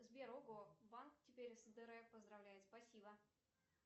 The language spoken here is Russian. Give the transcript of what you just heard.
сбер ого банк теперь с др поздравляет спасибо